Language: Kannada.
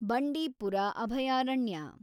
ಬಂಡೀಪರ ಅಭಯಾರಣ್ಯ